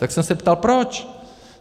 Tak jsem se ptal proč.